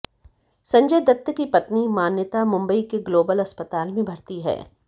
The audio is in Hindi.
संजय दत्त की पत्नी मान्यता मुंबई के ग्लोबल अस्पताल में भर्ती है